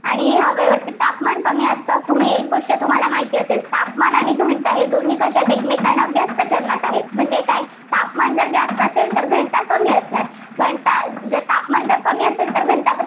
आणि या हवेवरती तापमान की असतं. तुम्ही एक गोष्ट तुम्हाला माहिती असेल तापमान आणि घनता हे दोन्ही कसे आहेत, एकमेकांना व्यस्त चलनात आहेत. म्हणजे काय तापमान जर जास्त असेल तर घनता कमी असणार घनता जर तापमान जर कमी असेल तर घनता